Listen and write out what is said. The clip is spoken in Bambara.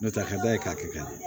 N'o tɛ a ka d'a ye k'a kɛ ka ɲɛ